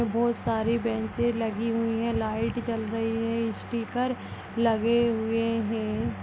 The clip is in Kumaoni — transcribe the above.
बहोत सारी बेंचे लगी हुई हैं लाईट जल रही है स्टीकर लगे हुए हैं।